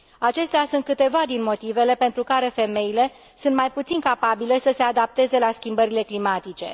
Acestea sunt câteva din motivele pentru care femeile sunt mai puțin capabile să se adapteze la schimbările climatice.